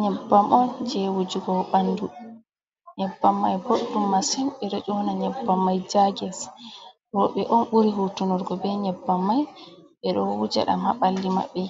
Nyebbam on je wujugo ɓanɗu, nyebbam mai ɓoɗɗum masin ɓe ɗo ƴona nyebbam mai jages, robe on ɓuri hutunorgo be nyebbam mai, ɓe ɗo wuja ɗam ha ɓalli maɓɓe